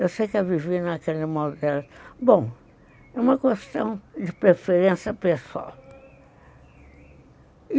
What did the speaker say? Eu sei que a vivi, naquele modo, era... Bom, é uma questão de preferência pessoal.